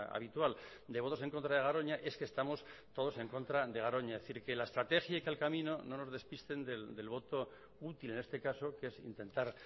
habitual de votos en contra de garoña es que estamos todos en contra de garoña es decir que la estrategia y que el camino no nos despisten del voto útil en este caso que es intentar